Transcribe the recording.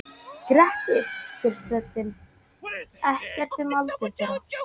Grettir spyr tröllin ekkert um aldur þeirra.